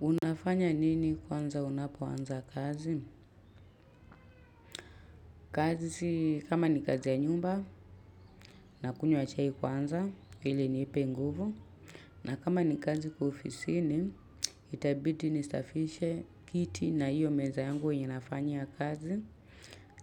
Unafanya nini kwanza unapoanza kazi? Kazi kama ni kazi ya nyumba nakunywa chai kwanza ili inipe nguvu. Na kama ni kazi kwa ofisini itabidi nisafishe kiti na hiyo meza yangu yenye nafanyia kazi.